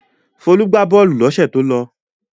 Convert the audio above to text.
Folú gbà bọ́ọ́lù lọ́sẹ̀ tó lọ.